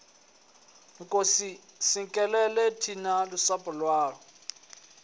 nkosi sikelela thina lusapho lwayo